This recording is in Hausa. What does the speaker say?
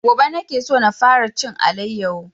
Gobe nake so na fara jin alayyafo